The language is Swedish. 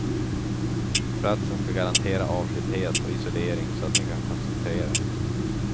Platsen ska garantera avskildhet och isolering så att ni kan koncentrera er.